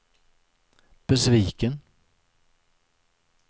besviken